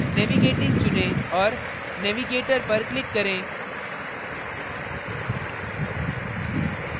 navigating चुनें और navigator पर click करें